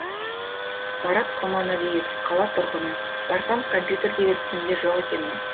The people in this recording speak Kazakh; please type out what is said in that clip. марат құрманәлиев қала тұрғыны барсам компьютердегі тізімде жоқ екенмін